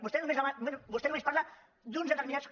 vostè només parla d’uns determinats